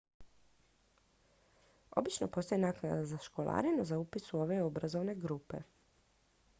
obično postoji naknada za školarinu za upis u ove obrazovne programe